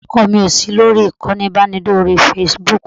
ọkọ mi ò sí lórí ìkànnì ìbánidọ́rẹ̀ẹ́ Facebook